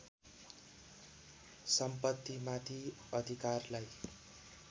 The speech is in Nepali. सम्पत्तिमाथि अधिकारलाई